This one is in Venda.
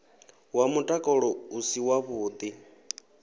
wa mutakalo u si wavhuḓi